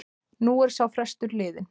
Nú er sá frestur liðinn.